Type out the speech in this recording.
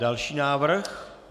Další návrh.